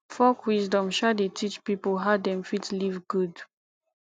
folk wisdom um dey teach pipo how dem fit live good